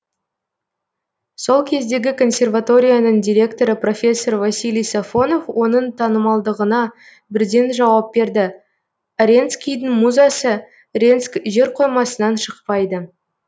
сол кездегі консерваторияның директоры профессор василий сафонов оның танымалдығына бірден жауап берді аренскийдің музасы ренск жерқоймасынан шықпайды